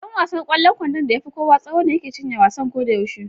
Ɗan wasan ƙwallon kwandon da ya fi kowa tsawo ne yake cinye wasan ko da yaushe.